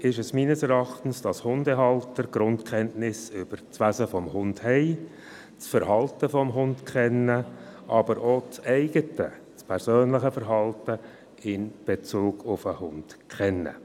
Wichtig ist meines Erachtens, dass Hundehalter Grundkenntnisse über das Wesen und das Verhalten des Hundes haben, aber auch das eigene, das persönliche Verhalten in Bezug auf den Hund kennen.